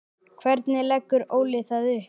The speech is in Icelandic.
Hvernig leggur Óli það upp?